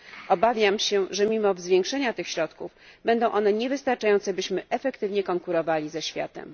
Obawiam się, że mimo zwiększenia tych środków będą one niewystarczające, byśmy efektywnie konkurowali ze światem.